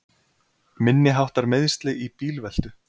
Minniháttar meiðsli í bílveltu